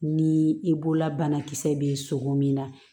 Ni i bolola banakisɛ bɛ sogo min na